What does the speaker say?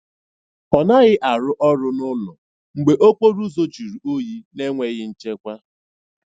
Ọ naghị arụ ọrụ n'ụlọ mgbe okporo ụzọ juru oyi na enweghị nchekwa.